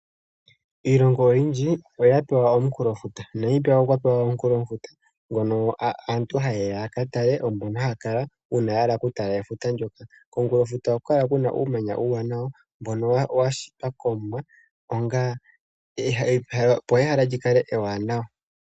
Iilongo oyindji oya pewa omunkulofuta. Namibia okwa pewa omunkulofuta ngono aantu haye ya ka kale uuna ya hala okutala efuta ndyoka. Komunkulofuta ohaku kala uumanya uuwanawa mbono wa shitwa kOmuwa, opo ehala li kale ewanawa.